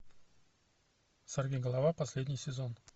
сорвиголова последний сезон